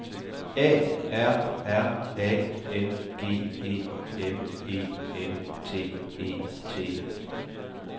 A R R A N G E M E N T E T